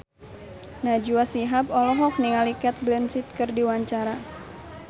Najwa Shihab olohok ningali Cate Blanchett keur diwawancara